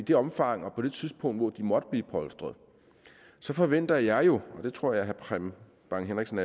det omfang og på det tidspunkt hvor de måtte blive polstret forventer jeg jo og det tror jeg herre preben bang henriksen